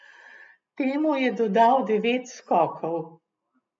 Temu je dodal devet skokov.